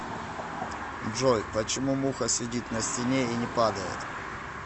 джой почему муха сидит на стене и не падает